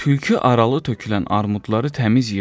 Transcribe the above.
Tülkü aralı tökülən armudları təmiz yığdı.